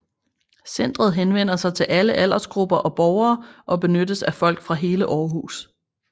Centret henvender sig til alle aldersgrupper og borgere og benyttes af folk fra hele Aarhus